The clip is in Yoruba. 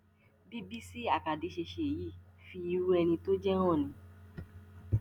bí bísí àkàdé ṣe ṣe yìí fi irú ẹni tó jẹ hàn ni